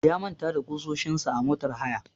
Ya manta da ƙusoshin sa a motar haya.